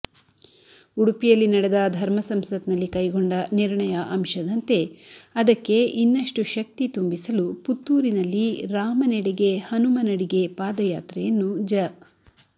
ಉಡುಪಿಯಲ್ಲಿ ನಡೆದ ಧರ್ಮಸಂಸತ್ನಲ್ಲಿ ಕೈಗೊಂಡ ನಿರ್ಣಯ ಅಂಶದಂತೆ ಅದಕ್ಕೆ ಇನ್ನಷ್ಟು ಶಕ್ತಿ ತುಂಬಿಸಲು ಪುತ್ತೂರಿನಲ್ಲಿ ರಾಮನೆಡೆಗೆ ಹನುಮನಡಿಗೆ ಪಾದಯಾತ್ರೆಯನ್ನು ಜ